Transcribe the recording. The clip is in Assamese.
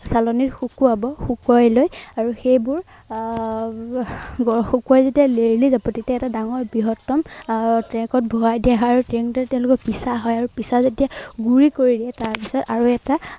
চালনিত শুকুৱাব। শুকুৱাই লৈ আৰু সেইবোৰ আহ শুকুৱাই যেতিয়া লেৰেলি যাব তেতিয়া এটা ডাঙৰ বৃহত্তম আহ track ত ভৰাই দিয়া হয় আৰু তেনেদৰে পিচা হয়। আৰু পিচা যেতিয়া গুৰি কৰি দিয়ে তাৰপিছত আৰু এটা